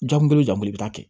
Jamu kelen bɛ taa kɛ